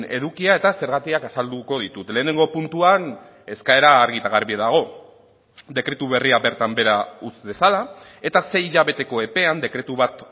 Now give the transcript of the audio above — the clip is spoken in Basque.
edukia eta zergatiak azalduko ditut lehenengo puntuan eskaera argi eta garbi dago dekretu berria bertan behera utz dezala eta sei hilabeteko epean dekretu bat